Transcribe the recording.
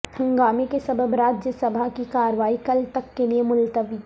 ہنگامے کے سبب راجیہ سبھا کی کارروائی کل تک کے لئے ملتوی